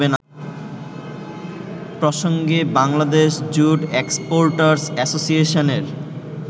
প্রসঙ্গে Bangladesh jute exporters অ্যাসোসিয়েশনের